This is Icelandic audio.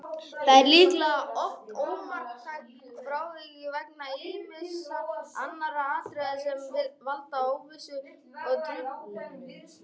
Það er líklega oft ómarktækt frávik vegna ýmissa annarra atriða sem valda óvissu og truflunum.